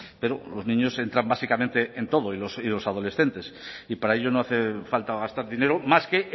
pero los niños entran básicamente en todo y los adolescentes y para ello no hace falta gastar dinero más que